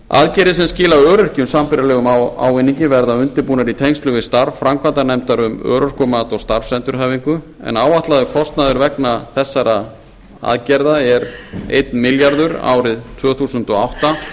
aðgerðir sem skila öryrkjum sambærilegum ávinningi verða undirbúnar í tengslum við starf framkvæmdanefndar um örorkumat og starfsendurhæfingu en áætlaður kostnaður vegna þessara aðgerða er einn milljarður árið tvö þúsund og átta